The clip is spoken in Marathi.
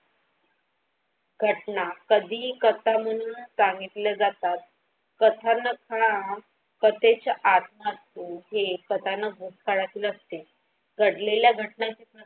घटना कधीही करताना सांगीतला जातात कथन प्रत्यक्ष आत असतो हे कथानक भूतकाळतू असते घडलेल्या घटना.